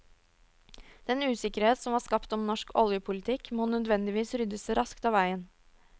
Den usikkerhet som var skapt om norsk oljepolitikk, måtte nødvendigvis ryddes raskt av veien.